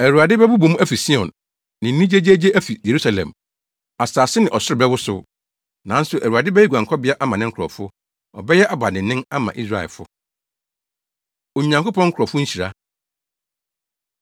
Awurade bɛbobɔ mu afi Sion, ne nne gyegyeegye afi Yerusalem, asase ne ɔsoro bɛwosow. Nanso Awurade bɛyɛ guankɔbea ama ne nkurɔfo, ɔbɛyɛ abandennen ama Israelfo. Onyankopɔn Nkurɔfo Nhyira